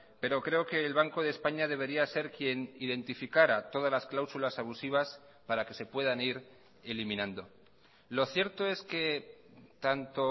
pero creo que el banco de españa debería ser quien identificara todas las cláusulas abusivas para que se puedan ir eliminando lo cierto es que tanto